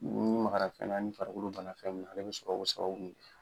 N'i magara fɛn na ni farikolo ban fɛn min na ale bi sɔrɔko babu sababu